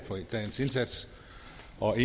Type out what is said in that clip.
og